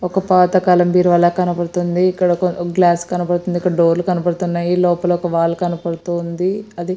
ఒక పాత కాలం బీరువా లా కనబడుతుంది ఇక్కడ ఒక గ్లాస్ కనబడుతుంది ఇక్కడ డోర్ లు కనబడుతున్నాయి లోపల ఒక వాల్ కనబడుతూ ఉంది అది --